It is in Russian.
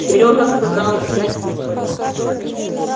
сережа сказал я тихо